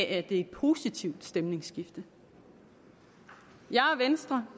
er et positivt stemningsskifte jeg og venstre